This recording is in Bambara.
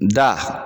Da